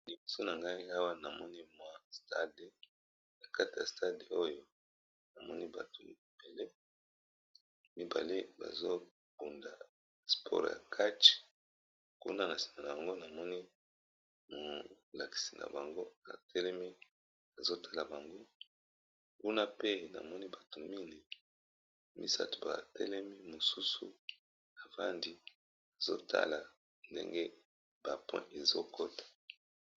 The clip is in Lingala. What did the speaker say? Awa liboso na ngai awa namoni mwa na kata ya stade oyo amoni bato mibale mibale bazobunda spore ya katche kuna na sina na bango namoni molakisi na bango atelemi azotala bango kuna pe namoni bato mine misato batelemi mosusu afandi azotala ndenge bapoint ezokota.